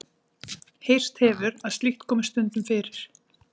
Heyrst hefur að slíkt komi stundum fyrir.